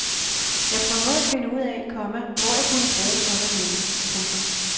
Jeg prøver at finde ud af, komma hvor jeg kunne bruge sådan nogle. punktum